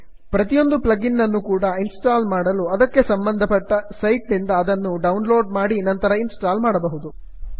ಪ್ರತಿಯೊಂದು plugin ಅನ್ನು ಕೂಡಾ ಇನ್ಸ್ಟಾಲ್ ಮಾಡಲು ಅದಕ್ಕೆ ಸಂಬಂಧ ಪಟ್ಟ ಸೈಟ್ ನಿಂದ ಅದನ್ನು ಡೌನ್ಲೋಡ್ ಮಾಡಿ ನಂತರ ಇನ್ಸ್ಟಾಲ್ ಮಾಡಬಹುದು